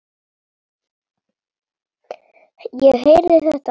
Ég heyrði þetta allt.